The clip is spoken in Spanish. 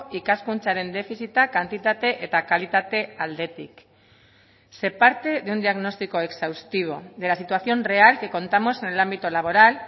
ikaskuntzaren defizita kantitate eta kalitate aldetik se parte de un diagnóstico exhaustivo de la situación real que contamos en el ámbito laboral